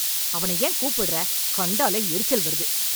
அவனை ஏன் கூப்புடுற? கண்டாலே எரிச்சல் வருது.